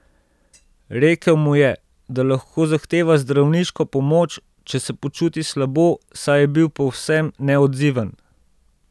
Rekel mu je, da lahko zahteva zdravniško pomoč, če se počuti slabo, saj je bil povsem neodziven.